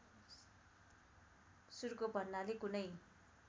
सुर्को भन्नाले कुनै